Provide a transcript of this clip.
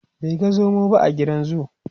bai ga zomo ba a gidan zoo